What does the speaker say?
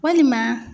Walima